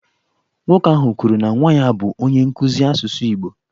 Nwoke ahụ kwuru na nwa ya bụ onye nkụzi asụsụ Igbo.